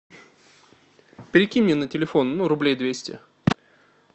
перекинь мне на телефон ну рублей двести